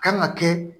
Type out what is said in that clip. Kan ka kɛ